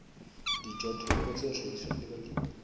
dijothollo tse hlahiswang ke balemi